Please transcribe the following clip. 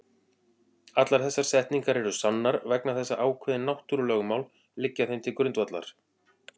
Allar þessar setningar eru sannar vegna þess að ákveðin náttúrulögmál liggja þeim til grundvallar.